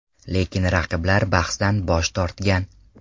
Lekin raqiblar bahsdan bosh tortgan.